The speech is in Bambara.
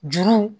Juru